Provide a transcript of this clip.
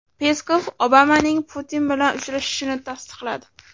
Peskov Obamaning Putin bilan uchrashishini tasdiqladi.